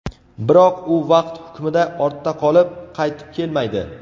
Biroq, u vaqt hukmida ortda qolib, qaytib kelmaydi.